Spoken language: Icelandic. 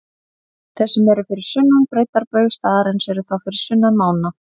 Þeir sem eru fyrir sunnan breiddarbaug staðarins eru þá fyrir sunnan mána.